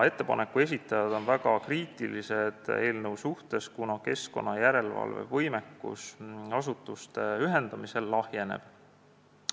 Ettepaneku esitajad on eelnõu suhtes väga kriitilised, kuna keskkonnajärelevalve võimekus asutuste ühendamisel lahjeneb.